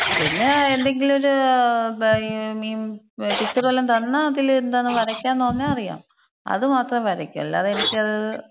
പിന്നെ എന്തെങ്കിലൊര് ഈ പിക്ചറ് വല്ലോം തന്നാ, അതില് എന്തോന്ന് വരയ്ക്കാൻന്ന് പറഞ്ഞ അറിയാം. അത് മാത്രം വരയ്ക്കും. അല്ലാതെ എനിക്കത്